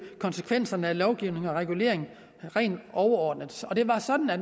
konsekvenserne af lovgivning og regulering rent overordnet det var sådan at